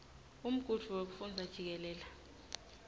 umgudvu wekufundza jikelele